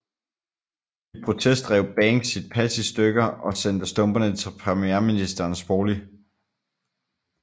I protest rev Banks sit pas i stykker og sendte stumperne til premierministerens bolig